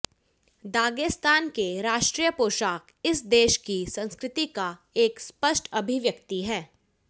Dagestan के राष्ट्रीय पोशाक इस देश की संस्कृति का एक स्पष्ट अभिव्यक्ति है